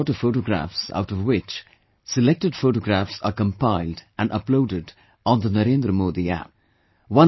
I received a lot of photographs out of which, selected photographs are compiled and uploaded on the NarendraModiApp